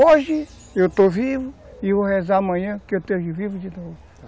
Hoje, eu estou vivo e vou rezar para que amanhã eu esteja vivo de novo.